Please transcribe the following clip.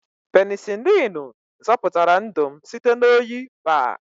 Penisilinu zọpụtara ndụ m site na oyi baa.